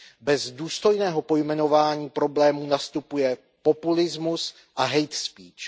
Bez důstojného pojmenování problémů nastupuje populismus a hate speech